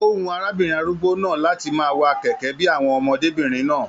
O wù arábìnrin arúgbó náà láti máa wà kẹkẹ bíi àwọn ọmọdébinrin náà.